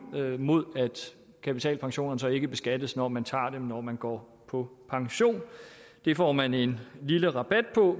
mod at kapitalpensionerne så ikke beskattes når man tager dem ud når man går på pension det får man en lille rabat på